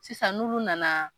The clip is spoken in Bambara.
Sisan n'olu nana.